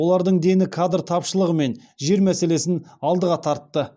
олардың дені кадр тапшылығы мен жер мәселесін алдыға тартты